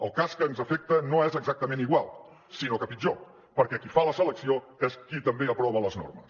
el cas que ens afecta no és exactament igual sinó que pitjor perquè qui fa la selecció és qui també aprova les normes